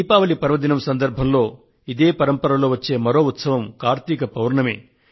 దీపావళి పర్వదినం సందర్భంలో ఇదే పరంపరలో వచ్చే మరొక ఉత్సవం కార్తీక పౌర్ణమి